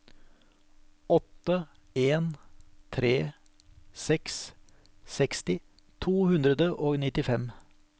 åtte en tre seks seksti to hundre og nittifem